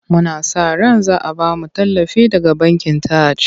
Muna sa ran za a ba mu tallafi daga bankin Taj.